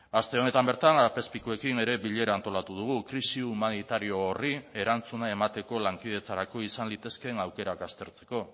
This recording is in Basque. aste honetan bertan apezpikuekin ere bilera antolatu dugu krisi humanitario horri erantzuna emateko lankidetzarako izan litezkeen aukerak aztertzeko